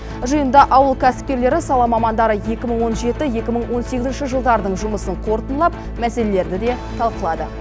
жиында ауыл кәсіпкерлері сала мамандары екі мың он жеті екі мың он сегізінші жылдардың жұмысын қорытындылап мәселелерді де талқылады